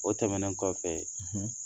O tɛmɛnen kɔfɛ